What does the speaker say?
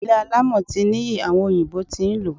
Ilé alámọ̀ ti ní iyì, àwọn òyìnbó tí ń lò ó.